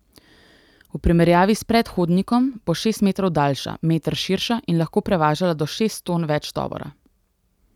V primerjavi s predhodnikom bo šest metrov daljša, meter širša in lahko prevažala do šest ton več tovora.